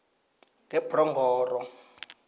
ngebronghoro